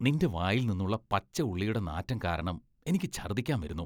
നിന്റെ വായിൽ നിന്നുള്ള പച്ച ഉള്ളിയുടെ നാറ്റം കാരണം എനിക്ക് ഛർദ്ദിക്കാൻ വരുന്നു.